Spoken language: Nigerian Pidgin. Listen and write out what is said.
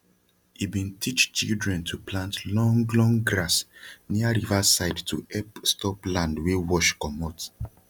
he bin teach children to plant long long grass nia riva side to hep stop land wey wash comot